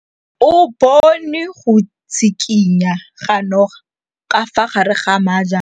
O bone go tshikinya ga noga ka fa gare ga majang.